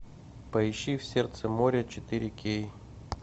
поищи в сердце моря четыре кей